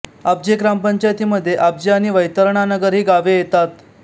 आब्जे ग्रामपंचायतीमध्ये आब्जे आणि वैतरणानगर ही गावे येतात